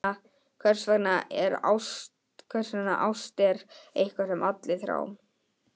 Hversvegna ást er eitthvað sem allir þrá.